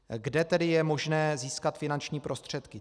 Kde tedy je možné získat finanční prostředky?